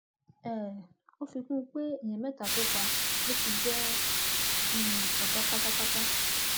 um ó fi kún un pé èèyàn mẹta tó pa ló fi jẹ um ọgá pátápátá